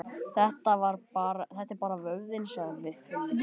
Þetta er bara vöðvinn, sagði Finnur.